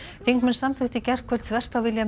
þingmenn samþykktu í gærkvöld þvert á vilja